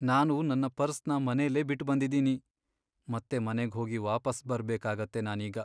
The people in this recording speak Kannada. ನಾನು ನನ್ ಪರ್ಸ್ನ ಮನೆಲೇ ಬಿಟ್ಬಂದಿದೀನಿ. ಮತ್ತೆ ಮನೆಗ್ ಹೋಗಿ ವಾಪಸ್ ಬರ್ಬೇಕಾಗತ್ತೆ ನಾನೀಗ.